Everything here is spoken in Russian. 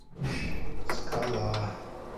скала